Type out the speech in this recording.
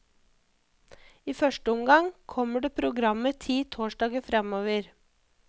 I første omgang kommer det programmer ti torsdager fremover.